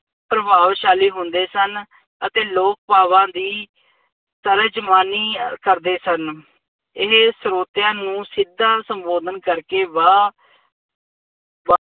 ਪ੍ਰਭਾਵਸ਼ਾਲੀ ਹੁੰਦੇ ਸਨ ਅਤ ਲੋਕ ਭਾਵਾਂ ਦੀ ਤਰਜ਼ਮਾਨੀ ਕਰਦੇ ਸਨ। ਇਹ ਸਰੋਤਿਆਂ ਨੂੰ ਸਿੱਧਾ ਸੰਬੋਧਨ ਕਰਕੇ ਵਾ ਵਾ